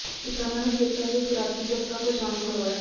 ਕਿਸਾਨਾਂ ਨੂੰ ਖੇਤਾਂ ਦੇ ਖੁਰਾਕੀ ਤੱਤਾਂ ਤੋਂ ਜਾਣੂ ਕਰਵਾਇਆ